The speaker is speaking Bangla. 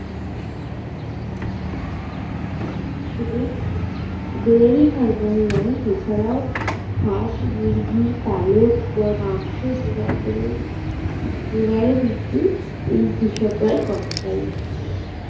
শুধু dairy pharma রি নয় এছাড়াও হাঁস মুরগির পালক বা মাংস জোগাড় করে জোগাড় ও কিন্তু এই কৃষকরাই করে তাই